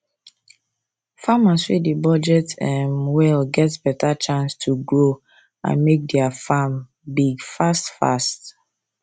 farmers wey dey budget um well get better chance to grow and make their farm big fast fast